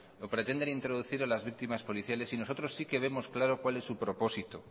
o pretenden introducir a las víctimas policiales y nosotros sí que vemos claro cuál es su propósito